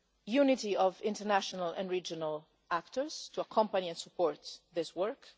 leaders unity of international and regional actors to accompany and support this